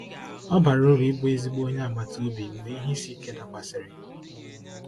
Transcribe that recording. Ọ bara uru ịbụ ezigbo onye agbata obi mgbe ihe isi ike dakwasịrị.